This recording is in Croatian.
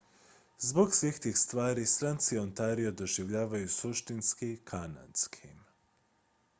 zbog svih tih stvari stranci ontario doživljavaju suštinski kanadskim